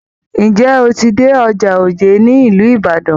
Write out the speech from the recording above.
Ǹjẹ́ o ti dé ọjà òjé ní ìlú Ibadan?